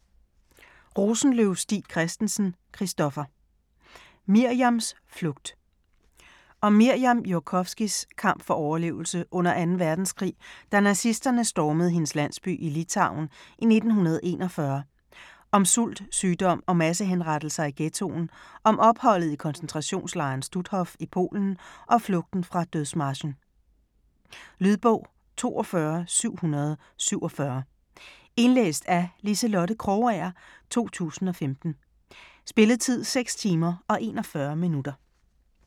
Rosenløv Stig Christensen, Christoffer: Mirjams flugt Om Mirjam Jurkofskys (f. 1925) kamp for overlevelse under anden verdenskrig, da nazisterne stormede hendes landsby i Litauen i 1941, om sult, sygdom og massehenrettelser i ghettoen, om opholdet i koncentrationslejren Stutthof i Polen og flugten fra dødsmarchen. Lydbog 42747 Indlæst af Liselotte Krogager, 2015. Spilletid: 6 timer, 41 minutter.